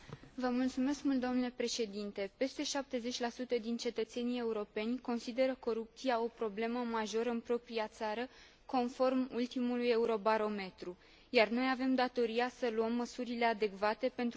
Peste 70 dintre cetățenii europeni consideră corupția o problemă majoră în propria țară, conform ultimului Eurobarometru, iar noi avem datoria să luăm măsurile adecvate pentru a răspunde acestor preocupări.